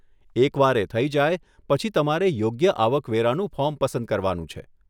એક વાર એ થઇ જાય, પછી તમારે યોગ્ય આવક વેરાનું ફોર્મ પસંદ કરવાનું છે.